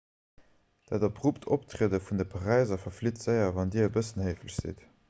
dat abrupt optriede vun de paräiser verflitt séier wann dir e bëssen héiflech sidd